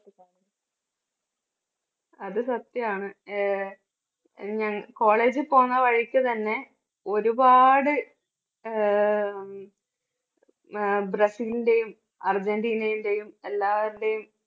അത് സത്യാണ് ഏ ഞാൻ college ൽ പോകുന്ന വഴിക്ക് തന്നെ ഒരുപാട് ആഹ് ഉം അഹ് ബ്രസീലിന്റെയും അർജൻറീനയുടെയും എല്ലാവരുടെയും